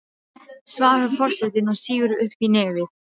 svarar forsetinn og sýgur upp í nefið.